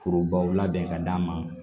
Forobaw labɛn ka d'a ma